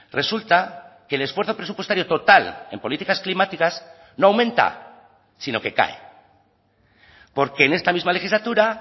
resulta que el esfuerzo presupuestario total en políticas climáticas no aumenta sino que cae porque en esta misma legislatura